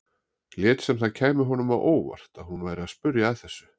Lét sem það kæmi honum á óvart að hún væri að spyrja að þessu.